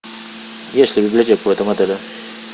есть ли библиотека в этом отеле